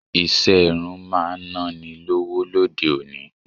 Ìṣe irun máa naa ni lọ́wọ́ lóde òní.